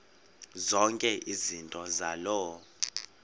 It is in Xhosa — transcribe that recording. zonke izinto zaloo